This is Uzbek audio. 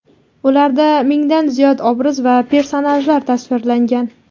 Ularda mingdan ziyod obraz va personajlar tasvirlangan.